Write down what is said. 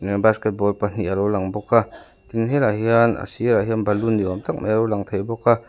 basketball pahnih a lo lang bawk a tin helaiah hian a sirah hian balloon ni awm tak mai a lo lang thei bawk a.